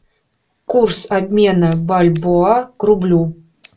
курс обмена бальбоа к рублю